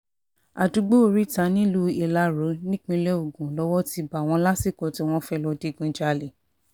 àdúgbò oríta nílùú ìlàró nípínlẹ̀ ogun lowó ti bá wọn lásìkò tí wọ́n fẹ́ẹ́ lọ digunjalè